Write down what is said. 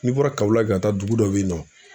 N'i bɔra KAWOLAKI ka taa dugu dɔ bɛ yen nɔ.